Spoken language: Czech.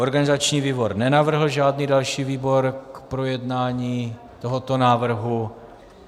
Organizační výbor nenavrhl žádný další výbor k projednání tohoto návrhu.